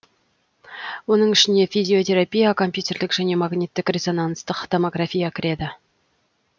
оның ішіне физиотерапия компьютерлік және магниттік резонанстық томография кіреді